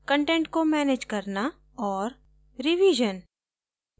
content को manage करना और रिविजन